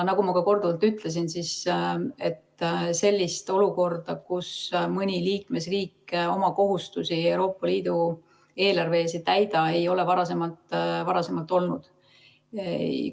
Nagu ma ka korduvalt ütlesin, sellist olukorda, kus mõni liikmesriik oma kohustusi Euroopa Liidu eelarve ees ei täida, ei ole varem olnud.